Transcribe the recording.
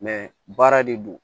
baara de don